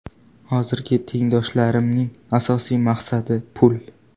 Hozirgi tengdoshlarimning asosiy maqsadi pul.